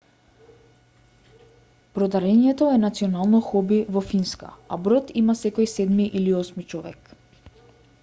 бродарењето е национално хоби во финска а брод има секој седми или осми човек